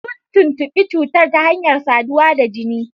Sun tuntubi cutar ta hanyar saduwa da jini.